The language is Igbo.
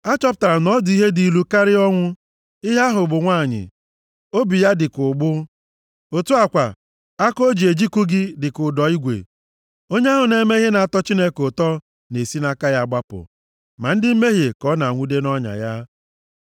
Achọpụtara m na ọ dị ihe dị ilu karịa ọnwụ, ihe ahụ bụ nwanyị. Obi ya dị ka ụgbụ. Otu a kwa, aka o ji ejikụ gị dị ka ụdọ igwe. Onye ahụ na-eme ihe na-atọ Chineke ụtọ na-esi nʼaka ya gbapụ, ma ndị mmehie ka ọ na-enwude nʼọnya ya.